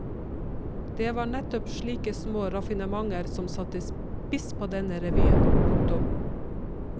Det var nettopp slike små raffinementer som satte spiss på denne revyen. punktum